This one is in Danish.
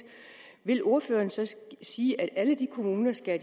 vil ordføreren så sige at alle kommunerne skal